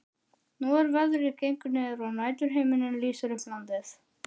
Nú er veðrið gengið niður og næturhiminninn lýsir upp landið.